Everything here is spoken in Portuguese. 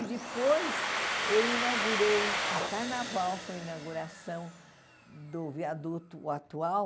E depois eu inaugurei, no carnaval foi a inauguração do viaduto atual,